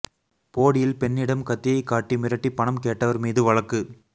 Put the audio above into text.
போடியில் பெண்ணிடம் கத்தியை காட்டி மிரட்டி பணம் கேட்டவா் மீது வழக்கு